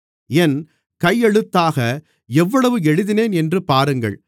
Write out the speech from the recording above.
என் கையெழுத்தாக எவ்வளவு எழுதினேன் என்று பாருங்கள்